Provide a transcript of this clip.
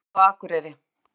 Ók inn í garð á Akureyri